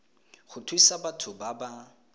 go thusa batho ba ba